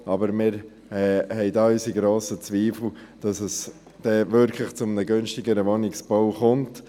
Allerdings haben wir doch grosse Zweifel, dass es dann wirklich zu günstigerem Wohnungsbau kommt.